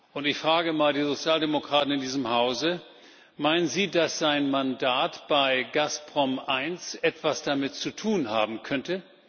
und ich frage mal die Sozialdemokraten in diesem Hause Meinen Sie, dass sein Mandat bei Gazprom 1 etwas damit zu tun haben könnte?